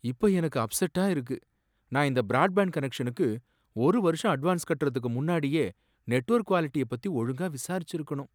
இப்ப எனக்கு அப்செட்டா இருக்கு, நான் இந்த பிராட்பாண்ட் கனெக்ஷனுக்கு ஒரு வருஷம் அட்வான்ஸ் கட்றதுக்கு முன்னாடியே நெட்வொர்க் குவாலிட்டிய பத்தி ஒழுங்கா விசாரிச்சிருக்கணும்.